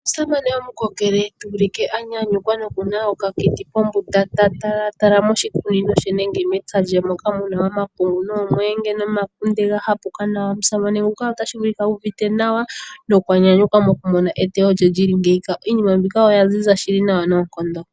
Omusamane gomukokele tuulike a nyanyukwa no kuna okakiti pombunda , ta talataala moshikunino she nenge mempya lye moka muna omapungu, noomweenge nomakunde ga hapuka nawa. Omusamane nguka otashi vulika ,uuvite nawa nokwa nyanyukwa moku mona e tewo lye lili ngiika . Iinima mbika oya ziza nawa shili noonkondo.